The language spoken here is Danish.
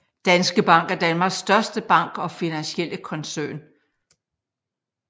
Danske Bank er Danmarks største bank og finansielle koncern